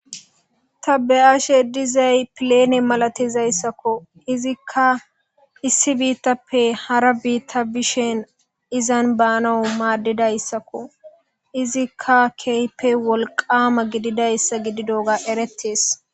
ta be7ashe dizay pilene malatizayssakko izikka issi biittappe hara biitta bishen izan baanawu maaddidayssakko izikka keype wolqama gididayssa gididoga erettees